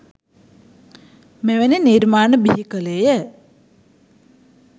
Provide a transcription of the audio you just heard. මෙවැනි නිර්මාණ බිහි කළේය